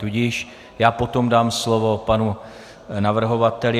Tudíž já potom dám slovo panu navrhovateli.